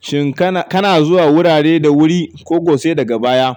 Shin ka na zuwa wurare da wuri ko ko sai daga baya?